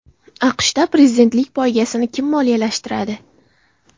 AQShda prezidentlik poygasini kim moliyalashtiradi?.